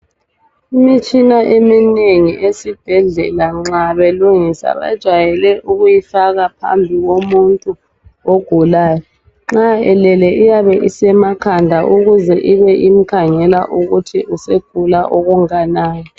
Imitshina eminengi esibhedlela nxa belungisa bajayele ukuyifaka phambi komuntu ogulayo .Nxa elele iyabe isemakhanda ukuze ibe imkhangela ukuthi usegula okunganani .